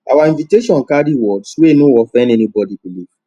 our invitation carry words wey no offend anybody belief